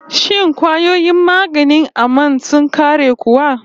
Shin kwayoyin maganin aman sun ƙare kuwa?